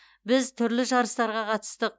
біз түрлі жарыстарға қатыстық